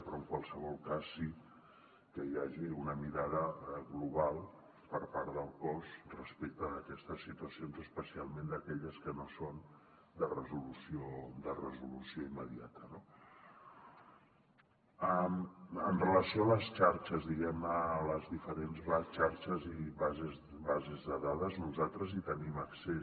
però en qualsevol cas sí que hi hagi una mirada global per part del cos respecte d’aquestes situacions especialment d’aquelles que no són de resolució immediata no en relació amb les xarxes diguem ne les diferents xarxes i bases de dades nosaltres hi tenim accés